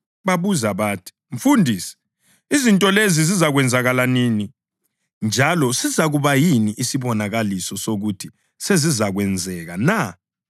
Babuza bathi, “Mfundisi, izinto lezi zizakwenzakala nini? Njalo sizakuba yini isibonakaliso sokuthi sezizakwenzeka na?”